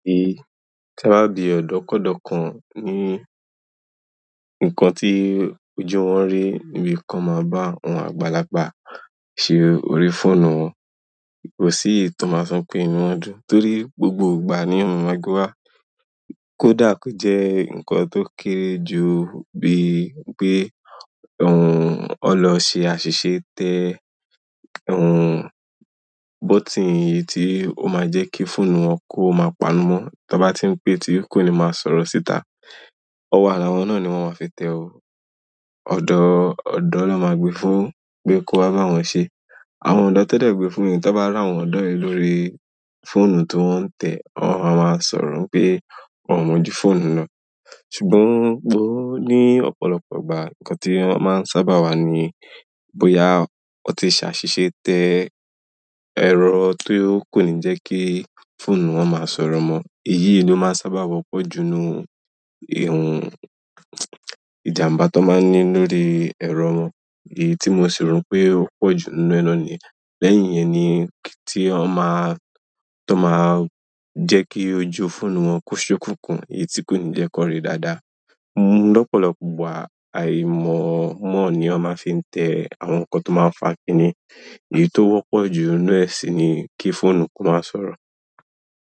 Tiba bi odokodo kan ni ikan ti ojú wọn ri nibi ki wọn ba àgbàlagbà se orí fóònù wọn. Kò sí ìtọ́ ma fin pè nínú ọdún torí gbogbo ìgbà ni ohun máa gbá. Kódà ko jẹ́ ǹkan tó kére jù bíi pé òun o lọ ṣe àṣìṣe tẹ òhun bótìn èyí tí ó máa ń jẹ́ kí fóònù wọn kó máa pa'nú mọ́. Tí wọ́n bá tí ń pé tí kò ní máa sọ̀rọ̀ síta. Ọwọ́ ara wọn náà ni wọ́n máa ń fi tẹ òun. Ọ̀dọ́, ọ̀dọ́ lọ́ máa gbe fún, pé kó wá bá wọn ṣe. Àwọn ọ̀dọ́ tẹ́dẹ̀ gbe fún, tí wọ́n bá ràwọn ọ̀dọ́ yìí lórí fóònù tó wọ́n ń tẹ̀, wọ́n a máa sọ̀rọ̀ ń pé wọ́n mọjú fóònù lọ. Ṣùgbọ́n bó ní ọ̀pọ̀lọpọ̀ ìgbà, ǹkan tí wọ́n sábà mọ́ wa ní bóyá wọ́n ti ṣàṣìṣe tẹ èrọ tó kò ní jẹ́ kí fóònù wọn máa sọ̀rọ̀ mọ. Èyí ló máa ń sábà wọ́pọ̀ ju inú ehun ìjàmbá tó máa ń ní lórí ẹ̀rọ wọn. Èyí ti mosi ro n pe o pọju níbẹ̀ náà niyen. Lẹ́yìn yẹn ní kí tí wọ́n máa ń, tó máa ń jẹ́ kí ojú fóònù wọn kú ìṣókùnkùn, èyí tí kò ní jẹ́ kó ri dáadáa. Mú lọ́pọ̀lọpọ̀ ìgbà àìmọ̀ mọ́ ni wọ́n máa ń fi tẹ àwọn ǹkan tó máa ń fàákíni. Èyí tó wọ́pọ̀ jú inú ẹ̀sìn ni kí fóònù kó máa sọ̀rọ̀.